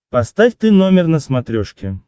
поставь ты номер на смотрешке